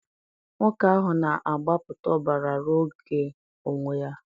nwoke ahụ na-agbapụta ọbara ruo oge onwe ya.